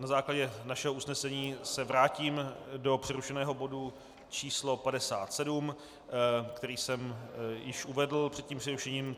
Na základě našeho usnesení se vrátím do přerušeného bodu číslo 57, který jsem již uvedl před tím přerušením.